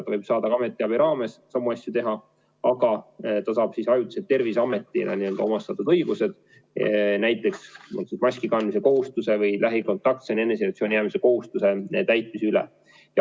Ta võib ka ametiabi raames samu asju teha, aga ta saab ajutiselt Terviseametile antud õigused, näiteks kontrollida maski kandmise kohustuse või lähikontaktsete eneseisolatsiooni jäämise kohustuse täitmist.